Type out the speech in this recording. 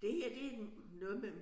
Det her det en noget med